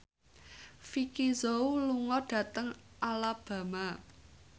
Vicki Zao lunga dhateng Alabama